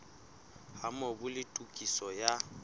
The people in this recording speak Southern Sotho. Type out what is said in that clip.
ha mobu le tokiso ya